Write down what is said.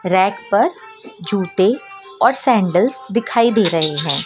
Rack पर जूते और सैंडल दिखाई दे रहे हैं।